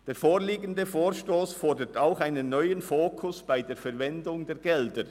Der vorliegende Vorstoss fordert einen neuen Fokus bei der Verwendung von Geldern.